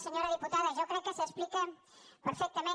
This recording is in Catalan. senyora diputada jo crec que s’explica perfectament